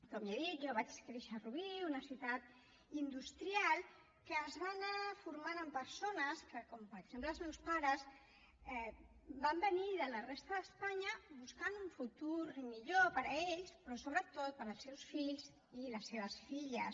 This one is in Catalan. com ja he dit jo vaig créixer a rubí una ciutat industrial que es va anar formant amb persones que com per exemple els meus pares van venir de la resta d’espanya buscant un futur millor per a ells però sobretot per als seus fills i les seves filles